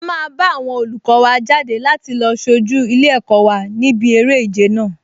A máa bá àwọn olùkọ wa jáde láti lọ sojú ilé-ẹ̀kọ́ wa níbi eré ìje náà